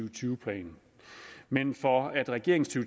og tyve plan men for at regeringens to